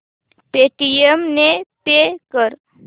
Paytm ने pay कर